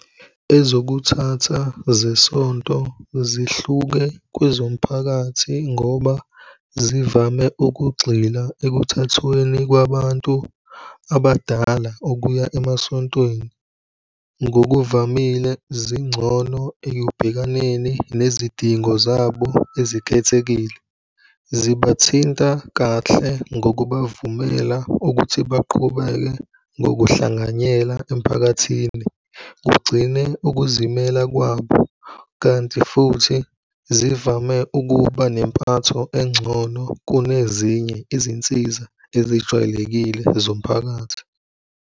Ezokuthatha zesonto zihluke kwezomphakathi ngoba zivame ukugxila ekuthathweni kwabantu abadala ukuya emasontweni. Ngokuvamile zingcono ekubhekaneni nezidingo zabo ezikhethekile. Zibathinta kahle ngokubavumela ukuthi baqhubeke ngokuhlanganyela emphakathini. Kugcine ukuzimela kwabo kanti futhi zivame ukuba nempatho engcono kunezinye izinsiza ezijwayelekile zomphakathi.